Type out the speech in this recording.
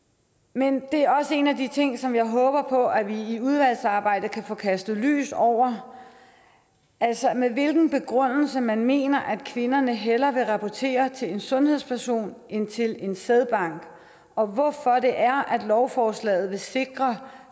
men det er også en af de ting som jeg håber på at vi i udvalgsarbejdet kan få kastet lys over altså med hvilken begrundelse man mener at kvinderne hellere vil rapportere til en sundhedsperson end til en sædbank og hvorfor det er at lovforslaget vil sikre